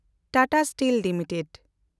Tata steel limited